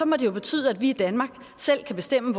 må det jo betyde at vi i danmark selv kan bestemme